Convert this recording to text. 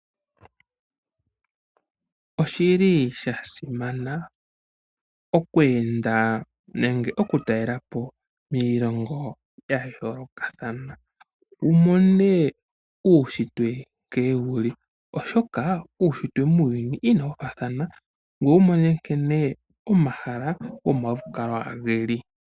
Oshili sha simana oku enda nenge oku talelapo iilongo ya yoolokathana. Wumone uushitwe nkene wuli, oshoka uushitwe muuyuni inawu faathana ngoye wumone nkene omahala gomalukalwa geli.